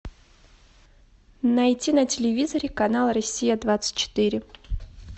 найти на телевизоре канал россия двадцать четыре